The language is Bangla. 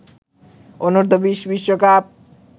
অনূর্ধ্ব-২০ বিশ্বকাপ